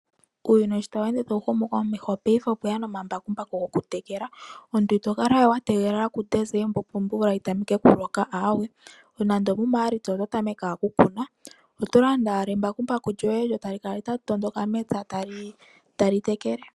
Uuyuni sho tawu ende tawu humu komesho paife okweya omambakumbaku goku tekela. Omuntu itokala we wategelela kuDesemba opo omvula yitameke okuloka, nande omu Maalitsa oto tameke wala okukuna. Oto landa owala embakumbaku lyoye lyo tali kala tali tondoka mepya lyo tali tekele.